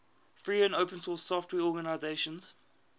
free and open source software organizations